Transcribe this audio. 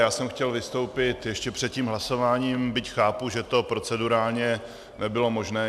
Já jsem chtěl vystoupit ještě před tím hlasováním, byť chápu, že to procedurálně nebylo možné.